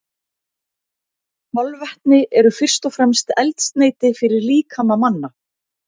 Kolvetni eru fyrst og fremst eldsneyti fyrir líkama manna.